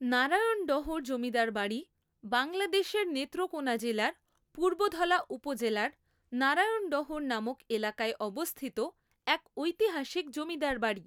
নারায়ণডহর জমিদার বাড়ি বাংলাদেশের নেত্রকোণা জেলার পূর্বধলা উপজেলার নারায়ণডহর নামক এলাকায় অবস্থিত এক ঐতিহাসিক জমিদার বাড়ি।